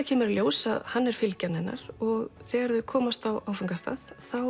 kemur í ljós að hann er fylgjan hennar og þegar þau komast á áfangastað